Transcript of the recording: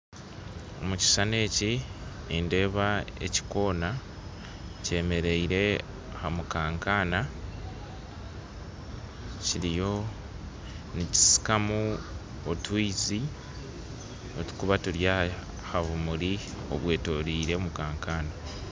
Omukishushani eki nindeeba ekikoona kyemereire aha mukankaana kiriyo nikisikamu otwizi otukuba turi ahabumuri obwetoroire omukankaana.